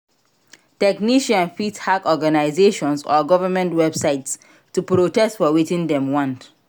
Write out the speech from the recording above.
Technician fit hack organisations or government websites to protest for wetin dem want